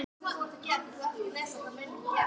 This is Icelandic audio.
Heima er ekkert nema fiskur og aftur fiskur.